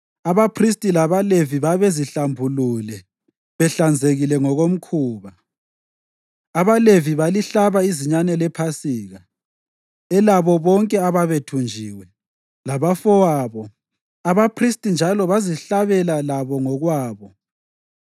Abaphristi labaLevi babezihlambulule behlanzekile ngokomkhuba. AbaLevi balihlaba izinyane lePhasika elabo bonke ababethunjiwe, labafowabo abaphristi njalo bezihlabela labo ngokwabo.